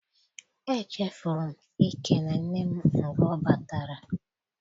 Echefuru m ikele nne m mgbe ọ batara.